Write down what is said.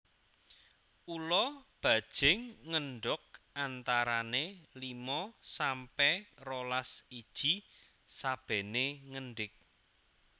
Ula bajing ngendog antarané limo sampe rolas iji sabené ngendig